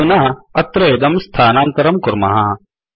अधुना अत्र इदं स्थानान्तरं कुर्मः